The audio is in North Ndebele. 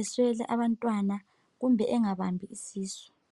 uswele abantwana kumbe ungabambi isisu